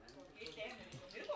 Bir o qədər də eynəydi.